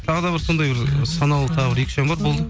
тағы да бір сондай бір санаулы тағы бір екі үш ән бар болады